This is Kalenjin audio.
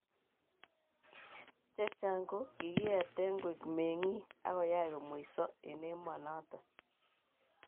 chechang ko kogieten koek mengig agoyach komweiso en emanatong